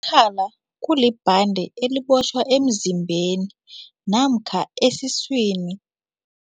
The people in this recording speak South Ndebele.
Umkhala kulibhande elibotjhwa emzimbeni namkha esiswini.